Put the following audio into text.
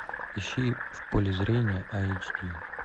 ищи в поле зрения айч ди